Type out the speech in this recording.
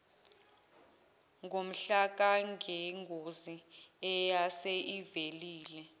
ngomhlakangengozi eyase ivelile